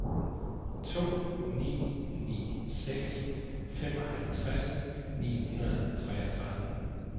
to ni ni seks femoghalvtreds ni hundrede og treogtredive